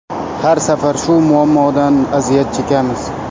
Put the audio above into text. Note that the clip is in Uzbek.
Har safar shu muammodan aziyat chekamiz.